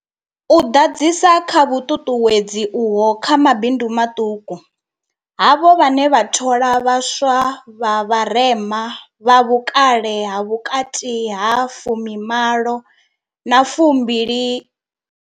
U ḓadzisa kha vhuṱuṱuwedzi uho kha mabindu maṱuku, havho vhane vha thola vha swa vha vharema, vha vhukale ha vhukati ha fumi malo na fumbili.